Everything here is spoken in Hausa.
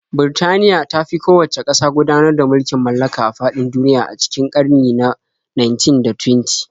Birtaniya ta fi kowacce ƙasa gudanar da mulkin mallaka a faɗin duniya a cikin ƙarni na 19 da 20.